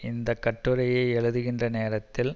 இந்த கட்டுரையை எழுதுகின்ற நேரத்தில்